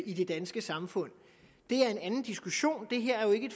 i det danske samfund det er en anden diskussion det her er jo ikke